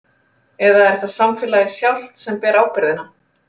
Eða er það samfélagið sjálft sem ber ábyrgðina?